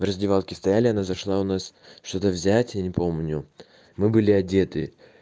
в раздевалке стояли она зашла у нас что-то взять я не помню мы были одеты